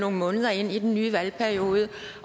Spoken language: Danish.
nogle måneder ind i den nye valgperiode